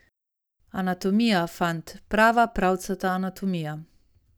Anatomija, fant, prava pravcata anatomija.